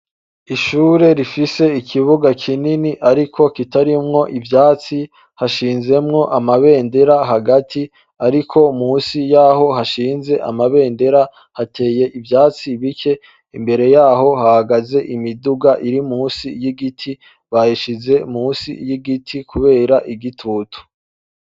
Ishure rifise ikibuga kinini, ariko kitarimwo ivyatsi hashinzemwo amabendera hagati, ariko musi y'aho hashinze amabendera hateye ivyatsi bike imbere yaho hagaze imiduga iri musi y'igiti baheshize musi y'igiti, kubera igitutu.